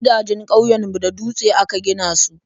Gidajen ƙauyen mu da dutse aka gina su